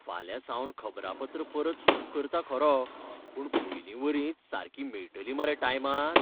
फाल्यांसावन खबरापत्रां परत सुरू करता खरो, पूण पयलींवरीच सारकीं मेळटलीं मरे टायमार?